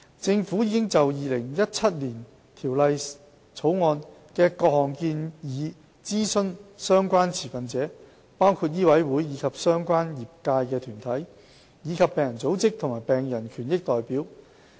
政府已就《2017年條例草案》的各項建議諮詢相關持份者，包括醫委會及相關業界團體，以及病人組織和病人權益代表。